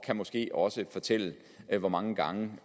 kan måske også fortælle hvor mange gange